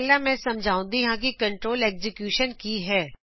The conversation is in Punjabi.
ਪਹਿਲਾ ਮੈਂ ਸਮਝਾਉਂਦੀ ਹਾ ਕਿ ਕੰਟਰੋਲ ਐਕਸੀਕਿਊਸ਼ਨ ਕੀ ਹੈ